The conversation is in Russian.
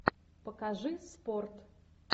покажи спорт